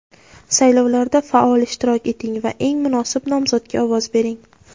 Saylovlarda faol ishtirok eting va eng munosib nomzodga ovoz bering!.